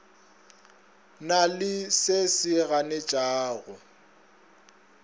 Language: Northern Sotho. na le se se ganetšago